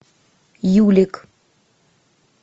юлик